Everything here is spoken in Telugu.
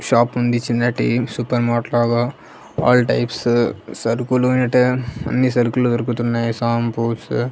షాప్ ఉంది చిన్న టీం సూపర్ మార్ట్ లాగా ఆల్ టైప్స్ సరుకులు అనేటివి అన్ని సరుకులు దొరుకుతున్నాయి షాంపూస్ .